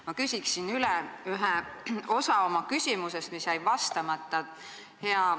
Ma küsin oma küsimuse ühe osa kohta, mis jäi vastamata.